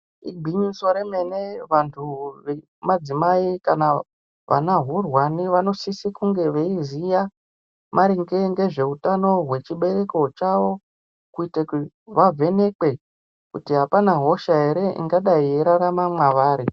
Igwinyiso remene vantu vemadzimai kana vanahurwani vanosise kunge veiziya maringe ngezveutano hwechibereko chavo kuite kuti vavhenekwe kuti hapana hosha here ingadai yeiraramwa mwavari.